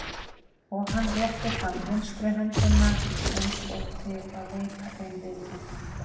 Og hann rétti fram vinstri höndina eins og til að veita þeim viðtöku.